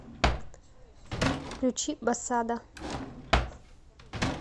включи басада